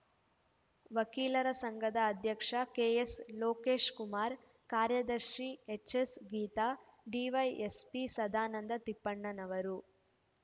ವಕೀಲರ ಸಂಘದ ಅಧ್ಯಕ್ಷ ಕೆ ಎಸ್ ಲೋಕೇಶ್‌ಕುಮಾರ್ ಕಾರ್ಯದರ್ಶಿ H S Geetha DYSP Sadananda Tippannanavar